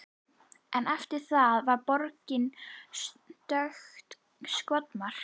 En eftir það var borgin stöðugt skotmark.